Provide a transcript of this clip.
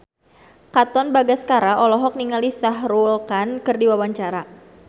Katon Bagaskara olohok ningali Shah Rukh Khan keur diwawancara